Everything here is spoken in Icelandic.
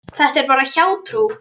Þetta er bara hjátrú.